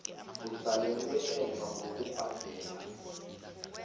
usalele emva ngokubhadela